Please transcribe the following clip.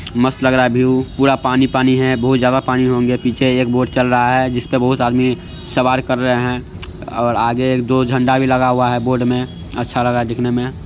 मस्त लग रहा है व्यू पूरा पानी-पानी है बहुत ज्यादा पानी हो गया है पीछे एक बोट चल रहा है जिसपे बहुत आदमी सवार कर रहे हैं और आगे एक दो झण्डा भी लगा हुआ है बोट में अच्छा लग रहा है देखने में।